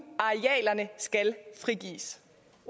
arealerne skal frigives